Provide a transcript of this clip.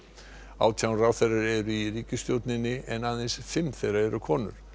átján ráðherrar eru í ríkisstjórn en aðeins fimm þeirra eru konur